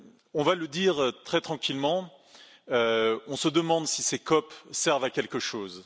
On va le dire très tranquillement on se demande si ces COP servent à quelque chose.